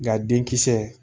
Nka denkisɛ